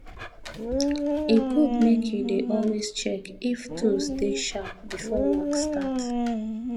e good make you dey always check if tools dey sharp before work start